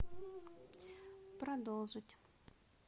продолжить